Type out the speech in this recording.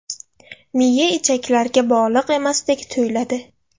Miya ichaklarga bog‘liq emasdek tuyuladi.